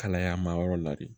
Kalaya ma yɔrɔ la de